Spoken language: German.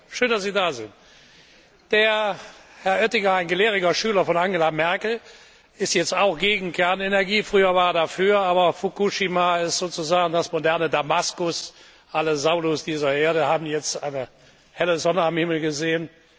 Herr Oettinger, schön dass Sie da sind! Herr Oettinger ein gelehriger Schüler von Angela Merkel, er ist jetzt auch gegen Kernenergie, früher war er dafür, aber Fukushima ist sozusagen das moderne Damaskus Alle Saulus dieser Erde haben jetzt eine helle Sonne am Himmel gesehen.